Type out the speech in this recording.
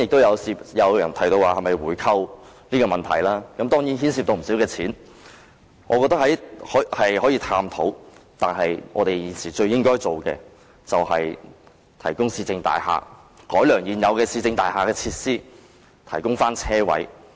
有人提到回購，關於這問題，當然牽涉不少金錢，我覺得可以探討，但現時最應該做的是提供市政大廈設施、改良現有市政大廈的設施、提供車位。